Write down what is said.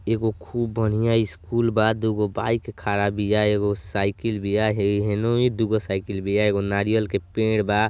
एगो खूब बढ़ियां ईस्कूल बा दुगो बाइक खड़ा बिया एगो साइकिल बिया हई हेनोई दूगो साइकिल बिया एगो नारियल के पेड़ बा।